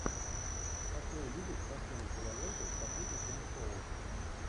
хочу увидеть красивую киноленту по типу телешоу